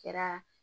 Kɛra